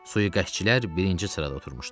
Sui-qəsdçilər birinci sırada oturmuşdular.